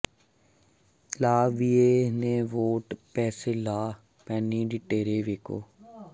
ਲਾ ਵਿਏ ਨੇ ਵੌਟ ਪੈਸ ਲਾ ਪੇਨੀ ਡੀ ੇਟਰੇ ਵੈਕੂ